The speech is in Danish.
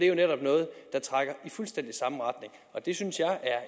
jo netop noget der trækker i fuldstændig samme retning og det synes jeg er